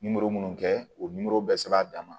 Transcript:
minnu kɛ u nimoro bɛɛ sɛbɛn a dan ma